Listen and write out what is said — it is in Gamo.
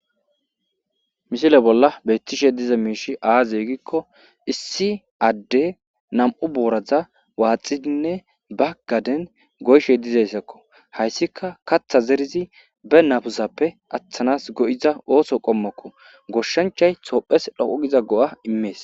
Misile bolla beettishe diza miishi aazeygikko issi adde nam7u booraza waaxidinne baggaden goyshe dizayssakko hayssika katha zerizidi be nasappe aththanas go7iza ooso qommokko goshshanchay toophes dhoqu giza go7a immees